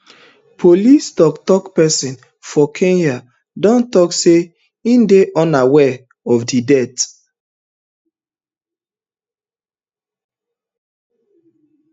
police toktok pesin for kenya don tok say im dey unaware of di death